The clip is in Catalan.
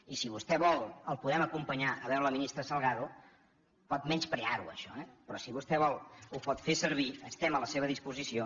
i si vostè vol el podem acompanyar a veure la ministra salgado pot menysprear ho això eh però si vostè vol ho pot fer servir estem a la seva disposició